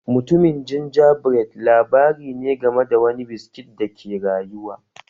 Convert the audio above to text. Mutumin Gingerbread labari ne game da wani biskit da ke rayuwa